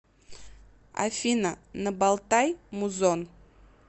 афина набалтай музон